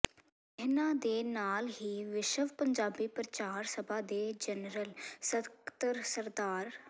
ਇਨ੍ਹਾਂ ਦੇ ਨਾਲ ਹੀ ਵਿਸ਼ਵ ਪੰਜਾਬੀ ਪ੍ਰਚਾਰ ਸਭਾ ਦੇ ਜਨਰਲ ਸਕੱਤਰ ਸ